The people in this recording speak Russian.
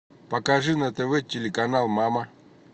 покажи на тв телеканал мама